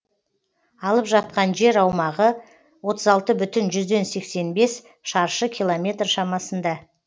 алып жатқан жер аумағы отыз алты бүтін жүзден сексен бес шаршы километр шамасында